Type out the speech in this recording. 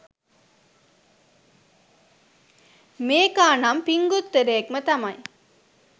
මේකා නම් පිංගුත්තරයෙක්ම තමයි